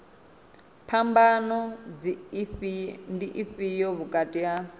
phambano ndi ifhio vhukati ha